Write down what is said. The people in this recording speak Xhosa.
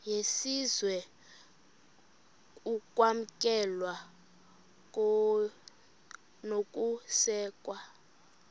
yesizwe ukwamkelwa nokusekwa